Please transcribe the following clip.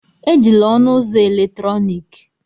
Ejila ọnụ ụzọ eletrọnịkị!